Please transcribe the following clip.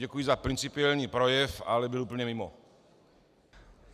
Děkuji za principiální projev, ale byl úplně mimo.